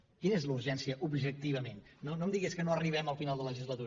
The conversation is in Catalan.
quina és la urgència objectivament no em digui és que no arribem al final de legislatura